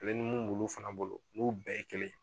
mun m'olu fana bolo bɛɛ ye kelen ye.